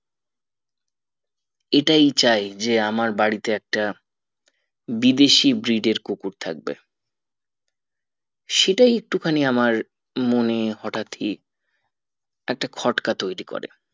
এটাই চাই যে আমার বাড়িতে একটা বিদেশী breed এর কুকুর থাকবে সেটাই একটু খানি আমার মনে হটাৎ ই একটা খটকা তৈরী করে